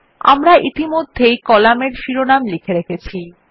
আমরা ইতিমধ্যেই কলামের শিরোনাম লিখে রেখেছি